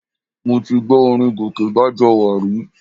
Mo ti gbọ́ orin Gòkè Bájọwà rí